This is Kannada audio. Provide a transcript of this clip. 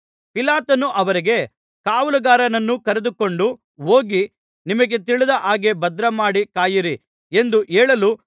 ಪಿಲಾತನು ಅವರಿಗೆ ಕಾವಲುಗಾರರನ್ನು ಕರೆದುಕೊಂಡು ಹೋಗಿ ನಿಮಗೆ ತಿಳಿದ ಹಾಗೆ ಭದ್ರಮಾಡಿ ಕಾಯಿರಿ ಎಂದು ಹೇಳಲು